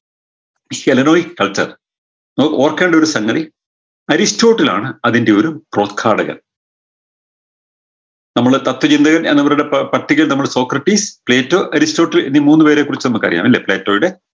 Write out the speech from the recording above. ഈ ശെലനോയിസ് culture നോ ഓർക്കേണ്ടൊരു സംഗതി അരിസ്റ്റോട്ടിൽ ആണ് അതിൻറെ ഒരു നമ്മുടെ തത്വചിന്തകൻ എന്നവരുടെ പട്ടികയിൽ നമ്മളെ സ്രോക്രട്ടീസ് പ്ലീറ്റർ അരിസ്റ്റോട്ടിൽ എന്നീ മൂന്ന് പേരെക്കുറിച്ച് നമുക്കറിയാലേ പ്ളേറ്റോയുടെ